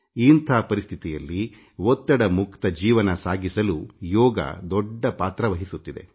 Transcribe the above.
ಇಂಥ ಪರಿಸ್ಥಿತಿಯಲ್ಲಿ ಒತ್ತಡರಹಿತ ಜೀವನ ಸಾಗಿಸಲು ಯೋಗ ದೊಡ್ಡ ಪಾತ್ರ ವಹಿಸುತ್ತಿದೆ